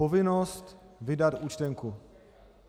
Povinnost vydat účtenku.